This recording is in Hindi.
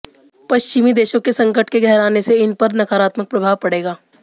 पश्चिमी देशों के संकट के गहराने से इन पर नकारात्मक प्रभाव पड़ेगा